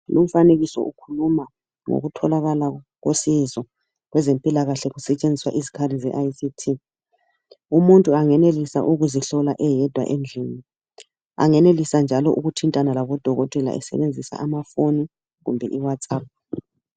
lu mfanekiso ukhuluma ngokutholakala kosizo kwezempilakahle kusetshenziswa izikhali ze ICT umuntu angenelisa ukuzihlola eyedwa endlini angenelisa njalo ukuthintana labo dokotela esebenzisa amafoni loba i whatsapp